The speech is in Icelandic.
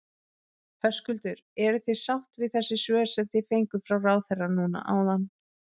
Höskuldur: Eruð þið sátt við þessi svör sem þið fenguð frá ráðherra núna áðan?